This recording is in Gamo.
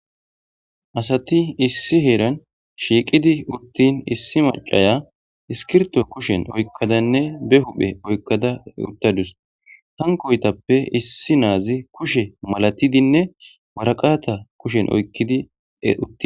Asati issi heeran shiiqidi uttin issi macaya iskirto kushen oykkadanne be huphe oykkada uttadus hankoytappe issi naazi kushe malatidinne waraqaata kushen oykkidi eutti